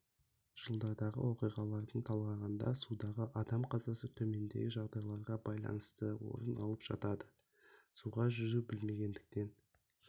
жылдардағы оқиғаларды талдағанда судағы адам қазасы төмендегі жағдайларға байланысты орын алып жатады суға жүзуді білмегендіктен